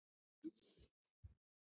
Jú, annars, segir hún.